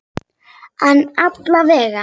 En alla vega.